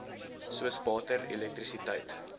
soos water elektrisiteit